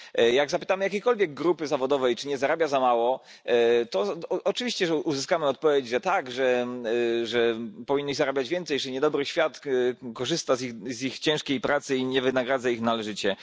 Jak zapytamy jakiejkolwiek grupy zawodowej, czy nie zarabia za mało, to oczywiście uzyskamy odpowiedź, że tak, że powinni zarabiać więcej, że niedobry świat korzysta z ich ciężkiej pracy i nie wynagradza ich należycie.